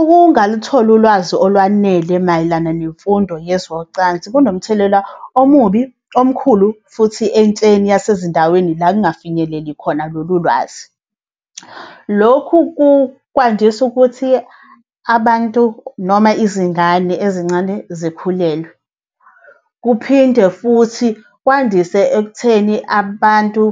Ukungalutholi ulwazi olwanele mayelana nemfundo yezocansi kunomthelela omubi, omkhulu, futhi entsheni yasezindaweni la kungafinyeleli khona lolu lwazi. Lokhu kwandisa ukuthi abantu noma izingane ezincane zikhulelwe. Kuphinde futhi kwandise ekutheni abantu